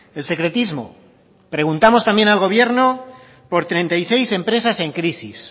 el secretismo preguntamos también al gobierno por treinta y seis empresas en crisis